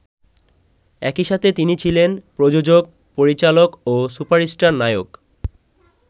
একইসাথে তিনি ছিলেন প্রযোজক, পরিচালক ও সুপারস্টার নায়ক।